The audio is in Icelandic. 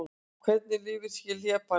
Hvernig lifir hlébarði?